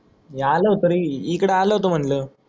मी आलो होतो रे इकडे आलो होतो म्हणल